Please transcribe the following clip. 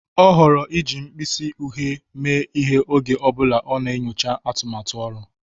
Ọ họọrọ iji mkpịsị uhie mee ihe oge ọ bụla ọ na-enyocha atụmatụ ọrụ.